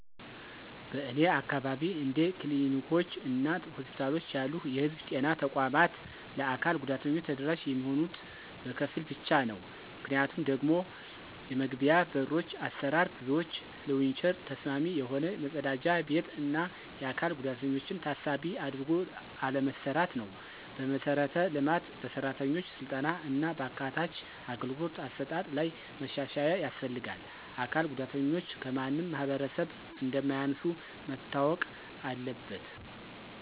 በእኔ አካባቢ እንደ ክሊኒኮች እና ሆስፒታሎች ያሉ የህዝብ ጤና ተቋማት ለአካል ጉዳተኞች ተደራሽ የሚሆኑት በከፊል ብቻ ነው። ምክንያቱም ደግሞ የመግቢያዎ በሮች አሰራር፣ ብዙዎች ለዊልቸር ተስማሚ የሆነ፣ መጸዳጃ ቤት፣ እና የአካል ጉዳተኞችን ታሳቢ አድርጎ አለመሰራትነው። በመሠረተ ልማት፣ በሠራተኞች ሥልጠና እና በአካታች አገልግሎት አሰጣጥ ላይ መሻሻያ ያስፈልጋል። አካል ጉዳተኞች ከማንም ማህበረሰብ እንማያንሱ መታወቅ አለበት።